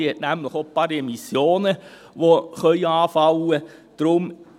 Diese hat nämlich auch noch ein paar Emissionen, die anfallen können.